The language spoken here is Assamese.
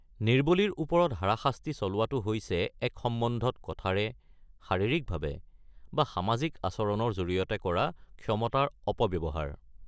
নিৰ্বলীৰ ওপৰত হাৰাশাস্তি চলোৱাটো হৈছে এক সম্বন্ধত কথাৰে, শাৰীৰিকভাৱে বা সামাজিক আচৰণৰ জৰিয়তে কৰা ক্ষমতাৰ অপব্যৱহাৰ।